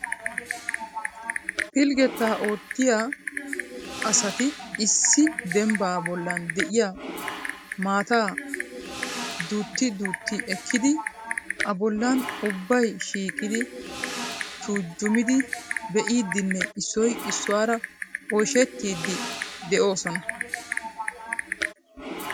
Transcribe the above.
Pilggeta oottiya asati issi dembba bollan de'iyaa maataa duutti duutti ekkidi a bollan ubbay shiiqidi tuujjumidi be'idinne issoy issuwaara oyshshettidi de'oosona.